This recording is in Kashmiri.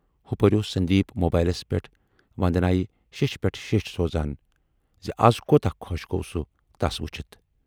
ہُپٲرۍ اوس سندیٖپ موبائیلس پٮ۪ٹھ وندنایہِ شیچھ پٮ۪ٹھ شیچھ سوزان زِ از کوتاہ خۅش گَو سُہ تَس وُچھِتھ۔